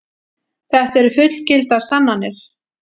Þetta eru fullgildar sannanir.